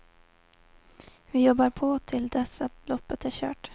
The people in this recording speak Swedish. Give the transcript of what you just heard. Vi jobbar på till dess att loppet är kört.